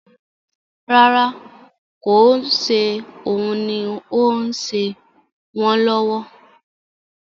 Rárá, kò ń ṣe òun ni ó ń ṣe wọn lọ́wọ́